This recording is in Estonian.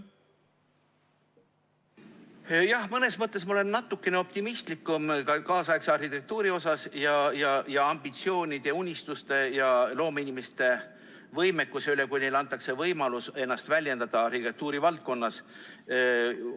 Jah, mõnes mõttes ma olen natukene optimistlikum ka kaasaegse arhitektuuri suhtes ja ambitsioonide, unistuste ja loomeinimeste võimekuse suhtes, kui neile antakse võimalus ennast arhitektuurivaldkonnas väljendada.